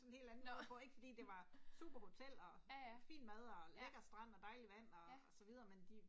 Sådan en helt anden hvor ik fordi det var super hotel og fin mad og lækker strand og dejlig vand og så videre men de